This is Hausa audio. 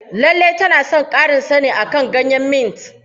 Lallai tana son ƙarin sani akan ganyen mint.